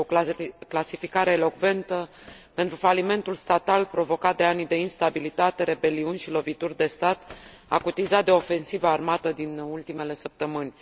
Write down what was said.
Este o clasificare elocventă pentru falimentul statal provocat de anii de instabilitate, rebeliuni și lovituri de stat, acutizat de ofensiva armată din ultimele săptămâni.